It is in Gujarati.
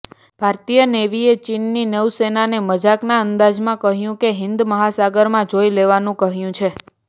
ભારતીય નેવીએ ચીનની નૌસેનાને મજાકના અંદાજમાં કહ્યું કે હિન્દ મહાસાગરમાં જોઇ લેવાનું કહ્યું છે